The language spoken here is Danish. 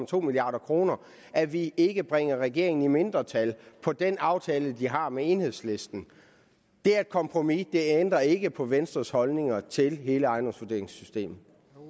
to milliard kr at vi ikke bringer regeringen i mindretal på den aftale de har med enhedslisten det er et kompromis det ændrer ikke på venstres holdninger til hele ejendomsvurderingssystemet